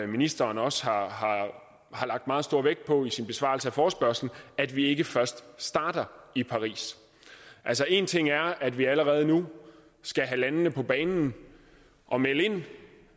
ministeren også har har lagt meget stor vægt på i sin besvarelse af forespørgslen at vi ikke først starter i paris altså en ting er at vi allerede nu skal have landene på banen og melde ind